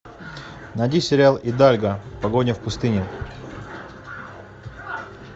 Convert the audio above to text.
найди сериал идальго погоня в пустыне